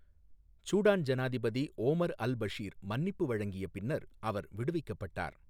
Sudan ஜனாதிபதி Omar al Bashir மன்னிப்பு வழங்கிய பின்னர் அவர் விடுவிக்கப்பட்டார்.